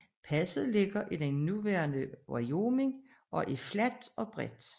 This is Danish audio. Passet ligger i det nuværende Wyoming og er fladt og bredt